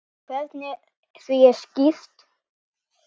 Og hvernig því er stýrt.